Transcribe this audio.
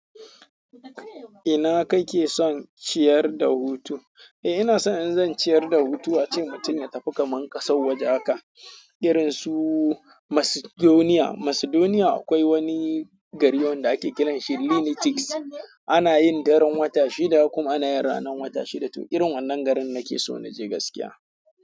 Ina kake son ciyar da hutu? Eh, ina so in zan ciyar da hutu a ce mutum ya tafi kaman ƙasan waje haka irin su Macedonia. Macedonia akwai wani gari wanda ake kiran shi Linities. Ana yin daren wata shida kuma ana yin ranan wata shida. Toh irin wannan garin nake so na je gaskiya.